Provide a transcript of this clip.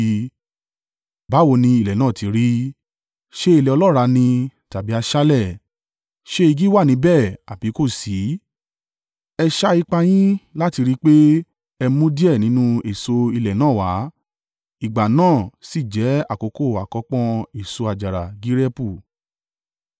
Báwo ni ilẹ̀ náà ti rí? Ṣé ilẹ̀ ọlọ́ràá ni tàbí aṣálẹ̀? Ṣé igi wà níbẹ̀ àbí kò sí? E sa ipá yín láti rí i pé ẹ mú díẹ̀ nínú èso ilẹ̀ náà wá.” (Ìgbà náà sì jẹ́ àkókò àkọ́pọ́n èso àjàrà gireepu.)